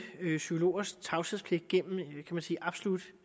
psykologers tavshedspligt gennem absolut